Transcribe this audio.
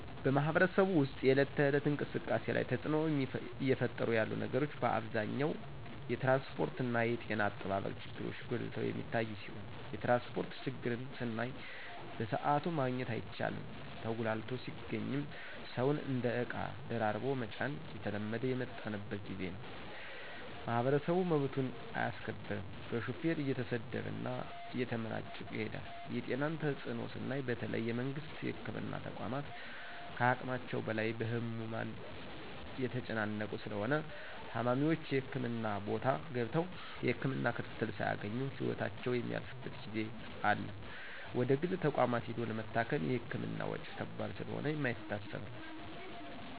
በማህበረሰቡ ወስጥ የእለት ተእለት እንቅስቃሴ ላይ ተጽእኖ እየፈጠሩ ያሉ ነገሮች በአብዛኛው የትራንስጶርትና የጤና አጠባበቅ ችግሮች ጎልተው የሚታዮ ሲሆን የትራንስጶርት ችግርን ስናይ በስአቱ ማግኘት አይቻልም ተጉላልቶ ሲገኝም ሰውን እንደ እቃ ደራርቦ መጫን እየተለመደ የመጣበት ጊዜ ነው። ማህበረሰቡ መብቱን አያስከብርም በሹፌር እየተሰደበና እየተመናጨቀ ይሄዳል የጤናን ተጽእኖ ስናይ በተለይ የመንግስት የህክምና ተቋማት ከሀቅማቸው በላይ በህሙማን የተጨናነቁ ስለሆነ ታማሚዎች የህክምና ቦታ ገብተው የህክምና ክትትል ሳያገኙ ህይወታቸው የሚያልፍበት ጊዜ አለ ወደግል ተቋማት ሂዶ ለመታከም የህክምና ወጭ ከባድ ስለሆነ የማይታሰብ ነው።